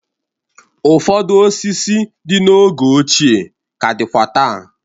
Ụfọdụ osisi dị n'oge ọchịe ka dịkwa taa.